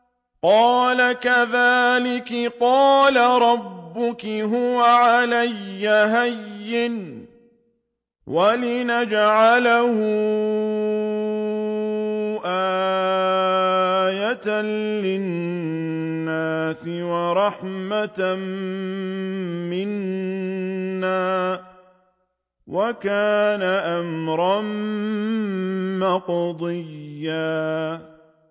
قَالَ كَذَٰلِكِ قَالَ رَبُّكِ هُوَ عَلَيَّ هَيِّنٌ ۖ وَلِنَجْعَلَهُ آيَةً لِّلنَّاسِ وَرَحْمَةً مِّنَّا ۚ وَكَانَ أَمْرًا مَّقْضِيًّا